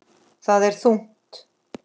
Það er þungt.